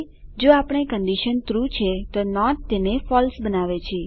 જો આપેલ condition true છે તો નોટ તેને ફળસે બનાવે છે